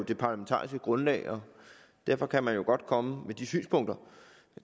det parlamentariske grundlag og derfor kan man jo godt komme med de synspunkter